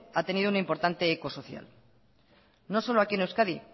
ha tenido un importante eco social no solo aquí en euskadi